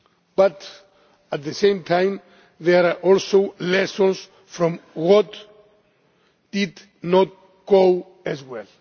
But at the same time there are also lessons from what did not go as well.